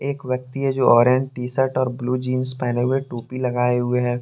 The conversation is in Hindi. एक व्यक्ति है जो ऑरेंज टी शर्ट और ब्लू जींस पहने हुए टोपी लगाए हुए है।